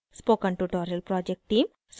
spoken tutorial project team: